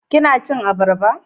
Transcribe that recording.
kina cin abarba?